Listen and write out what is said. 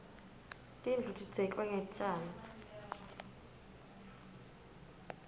tindlu tidzeklwe ngetjani